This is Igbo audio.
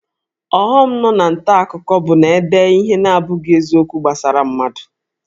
Ọghọm nọ na nta akụkọ bụ na-ede ihe na-abụghị eziokwu gbasara mmadụ